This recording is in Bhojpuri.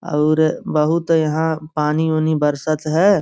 और बहोत यहाँ पानी-उनी बरसत है।